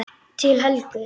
Til Helgu.